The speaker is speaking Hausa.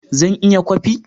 Zan iya kwafi